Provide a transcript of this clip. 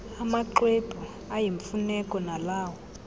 amaxwebhu ayimfuneko nalawo